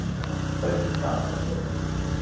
Hvað er líkaminn að segja